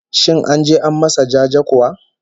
Shin an je an masa jaje kuwa?